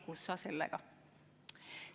Kus sa sellega!